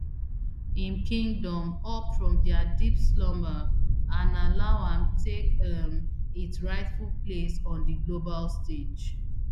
im kingdom up from dia deep slumber and allow am take um its rightful place on di global stage